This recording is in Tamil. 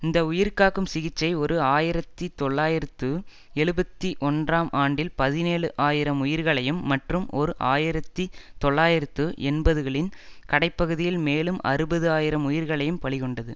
இந்த உயிர் காக்கும் சிகிச்சை ஓர் ஆயிரத்தி தொள்ளாயிரத்து எழுபத்தி ஒன்றாம் ஆண்டில் பதினேழு ஆயிரம் உயிர்களையும் மற்றும் ஓர் ஆயிரத்தி தொள்ளாயிரத்து எண்பதுகளின் கடை பகுதியில் மேலும் அறுபது ஆயிரம் உயிர்களையும் பலிகொண்டது